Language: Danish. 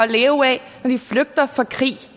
leve af når de flygter fra krig